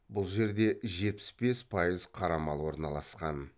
бұл жерде жетпіс бес пайыз қара мал орналасқан